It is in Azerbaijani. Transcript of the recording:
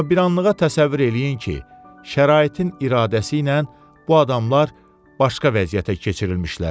Amma bir anlığa təsəvvür eləyin ki, şəraitin iradəsi ilə bu adamlar başqa vəziyyətə keçirilmişlər.